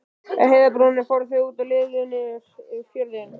Á heiðarbrúninni fóru þau út og litu niður yfir fjörðinn.